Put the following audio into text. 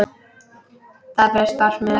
Það bréf barst mér ekki!